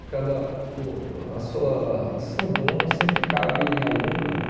Cada uh a sua o seu dom sempre cabe em algum campo.